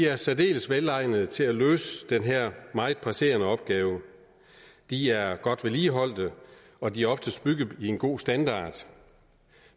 er særdeles velegnede til at løse den her meget presserende opgave de er godt vedligeholdt og de er oftest bygget i en god standard